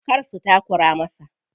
Kar su takura masa.